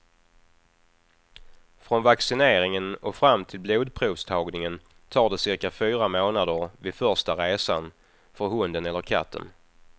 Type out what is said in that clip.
Från vaccineringen och fram till blodprovstagningen tar det cirka fyra månader vid första resan för hunden eller katten.